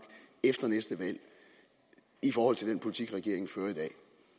efter næste valg i forhold til den politik regeringen fører i dag